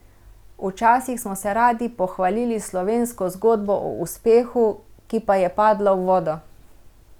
Včasih smo se radi pohvalili s slovensko zgodbo o uspehu, ki pa je padla v vodo.